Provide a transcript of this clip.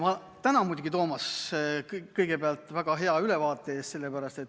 Ma tänan muidugi, Toomas, kõigepealt väga hea ülevaate eest.